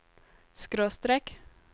skråstrek